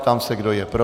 Ptám se, kdo je pro?